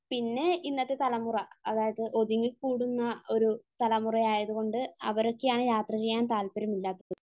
പിന്നെ ഇന്നത്തെ തലമുറ, അതായത് ഒതുങ്ങിക്കൂടുന്ന ഒരു തലമുറ ആയത്കൊണ്ട് അവരൊക്കെയാണ് യാത്ര ചെയ്യാൻ താല്പര്യം ഇല്ലാത്തത്